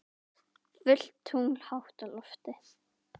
Fullt tungl hátt á lofti.